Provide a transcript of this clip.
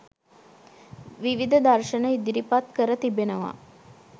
විවිධ දර්ශන ඉදිරිපත් කර තිබෙනවා.